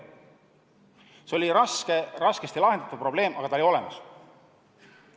See oli raskesti lahendatav probleem, aga lahendus oli olemas.